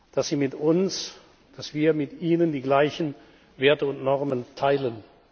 dass Sie mit uns, dass wir mit Ihnen die gleichen Werte und Normen teilen.